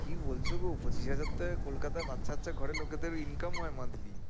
কি বলছ গো পঁচিশ হাজার টাকায় কলকাতায় ঘরের লোকেদের হয়